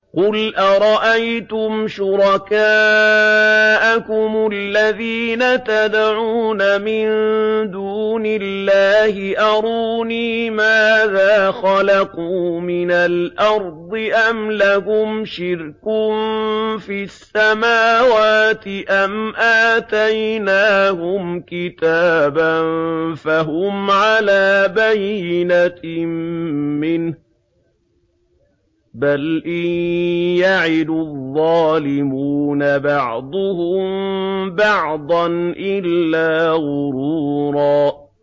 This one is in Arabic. قُلْ أَرَأَيْتُمْ شُرَكَاءَكُمُ الَّذِينَ تَدْعُونَ مِن دُونِ اللَّهِ أَرُونِي مَاذَا خَلَقُوا مِنَ الْأَرْضِ أَمْ لَهُمْ شِرْكٌ فِي السَّمَاوَاتِ أَمْ آتَيْنَاهُمْ كِتَابًا فَهُمْ عَلَىٰ بَيِّنَتٍ مِّنْهُ ۚ بَلْ إِن يَعِدُ الظَّالِمُونَ بَعْضُهُم بَعْضًا إِلَّا غُرُورًا